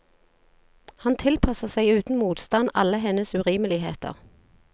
Han tilpasser seg uten motstand alle hennes urimeligheter.